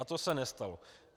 A to se nestalo.